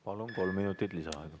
Palun, kolm minutit lisaaega!